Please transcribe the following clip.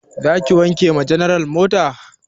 Za ka wanke wa general mota?